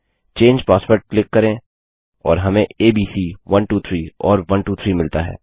चंगे password click करें और हमें एबीसी 123 और 123 मिलता है